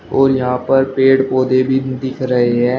और यहां पर पेड़ पौधे भी दिख रहे हैं।